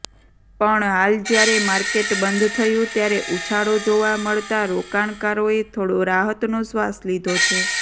પણ હાલ જ્યારે માર્કેટબંધ થયુ ત્યારે ઉછાળો જોવા મળતા રોકાણકારોએ થોડો રાહતનો શ્વાસ લીધો છે